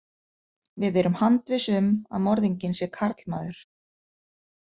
Við erum handviss um að morðinginn sé karlmaður.